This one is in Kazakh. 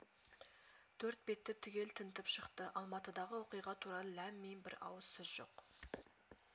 төрт бетті түгел тінтіп шықты алматыдағы оқиға туралы ләм-мим бір ауыз сөз жоқ